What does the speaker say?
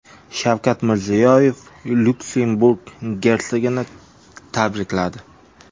Shavkat Mirziyoyev Lyuksemburg gersogini tabrikladi.